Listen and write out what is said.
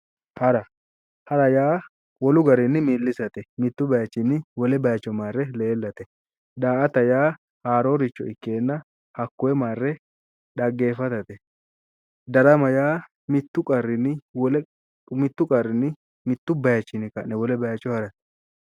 Hara, hara yaa wolu garinni milisate, mitu bayichini wole bayicho marre leellate ,daa"atta yaa haaroricho ikkenna hakkoe marre dhaggeefatate, darama yaa mitu qarrinni mitu bayichinni wolewa harate